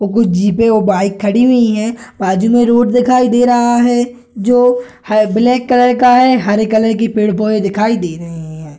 कुछ जीप और बाइक खड़ी हुई हैं बाजू में रोड दिखाई दे रहा है जो ब्लैक कलर का हरा कलर के पेड़-पौधे दिखाई दे रहे हैं ।